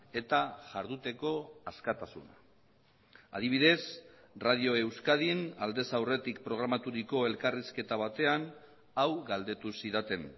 eta jarduteko askatasuna adibidez radio euskadin aldez aurretik programaturiko elkarrizketa batean hau galdetu zidaten